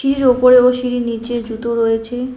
সিঁড়ির ওপরে ও সিঁড়ির নীচে জুতো রয়েছে।